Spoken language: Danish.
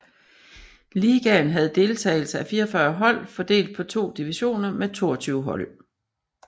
Ligaen havde deltagelse af 44 hold fordelt på to divisioner med 22 hold